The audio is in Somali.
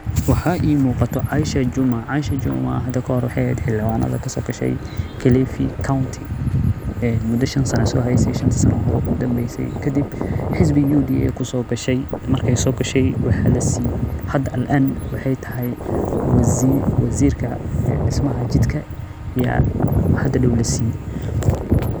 Waxaa ii muqato aisha Juma, waxeey eheed xiliwanad, marki aay soo gashi hada waxaay tahay waziirka disida jidka ayaa hada dow lasiiye.